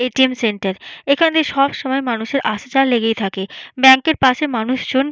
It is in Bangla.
এ .টি .এম. সেন্টার এখানে সবসময় মানুষের আসা যাওয়া লেগেই থাকে ব্যাঙ্ক -এর পাশে মানুষজন--